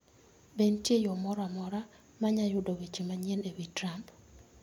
Be nitie yo moro amora mar yudo weche manyien e wi Trump?